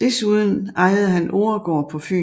Desuden ejede han Oregaard på Fyn